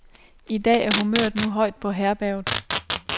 I dag er humøret nu højt på herberget.